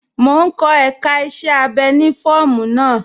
Mò n kọ èká iṣẹ̀ abẹ́ ni fọọmu naa.